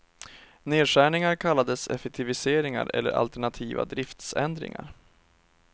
Nedskärningar kallades effektiviseringar eller alternativa driftsändringar.